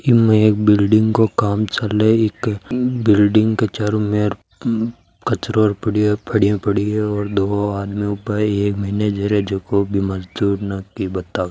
इमें एक बिल्डिंग काे काम चाले इक बिल्डिंग के चारो मेर कचरों पड़यो पेडिया पड़ी है और दो आदमी ऊबा है एक मैनेजर है जको बी मजदुर ने की बतावे।